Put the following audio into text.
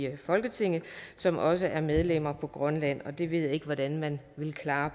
af folketinget som også er medlemmer på grønland og det ved jeg ikke hvordan man vil klare